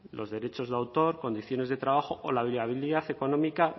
los derechos de autor condiciones de trabajo o la viabilidad económica